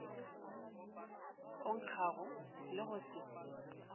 o nkgago le go se